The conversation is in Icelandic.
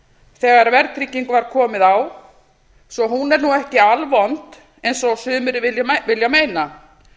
þegar verðtryggingu var komið á svo hún er ekki alvond eins og sumir vilja meina